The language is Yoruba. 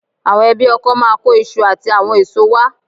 Àwọn ẹbí ọkọ máa kó iṣu àti àwọn èso wá